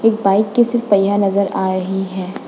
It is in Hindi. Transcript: एक बाइक की सिर्फ पहिया नजर आ रही है।